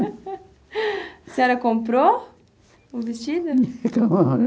A senhora comprou o vestido?